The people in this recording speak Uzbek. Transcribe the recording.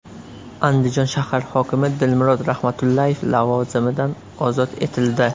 Andijon shahar hokimi Dilmurod Rahmatullayev lavozimidan ozod etildi.